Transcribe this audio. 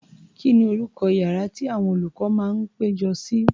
Kí ni orúkọ iyàrá tí àwọn olùkọ́ máa ń péjọ sí?